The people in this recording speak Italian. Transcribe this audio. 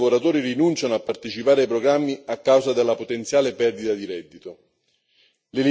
Molti studenti lavoratori rinunciano a partecipare ai programmi a causa della potenziale perdita di reddito.